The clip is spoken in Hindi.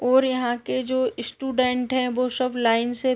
ओर यहाँ के जो इश्टुडेन्ट है वो शब लाइन से --